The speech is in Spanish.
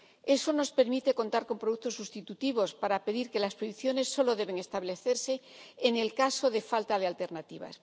Eso nos permite contar con productos sustitutivos para pedir que las prohibiciones solo deben establecerse en el caso de falta de alternativas.